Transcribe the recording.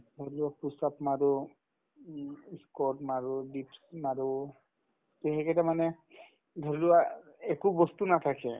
অলপ push up মাৰো উম ই squats মাৰো dips মাৰো তে সেইকেইটামানে ধৰিলোৱা একো বস্তু নাথাকে